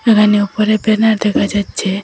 এখানে উপরে ব্যানার দেখা যাচ্চে।